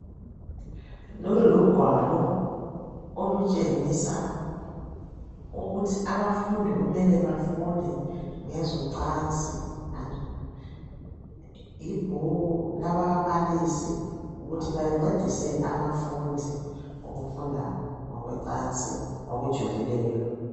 Lolu lugwalo olutshengisa ukuthi abafundi ukuthi befunde ngocansi. Lolu lugwalo lwababalisi abayisebenzisayo ukufundisa izifundi ngocansi ezikolweni.